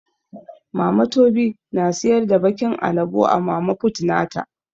Mama tobi na siyar da bakin alabo a mama fut nata.